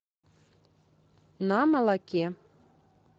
на молоке